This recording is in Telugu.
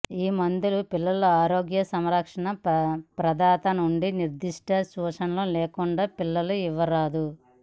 ఈ మందులు పిల్లల ఆరోగ్య సంరక్షణ ప్రదాత నుండి నిర్దిష్ట సూచనలు లేకుండా పిల్లలు ఇవ్వరాదు